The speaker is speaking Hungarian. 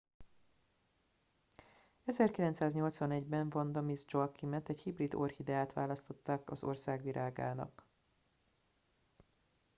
1981 ben vanda miss joaquimet egy hibrid orchideát választottak az ország virágának